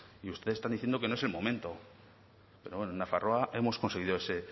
y ustedes están diciendo que no es el momento pero bueno en nafarroa hemos conseguido ese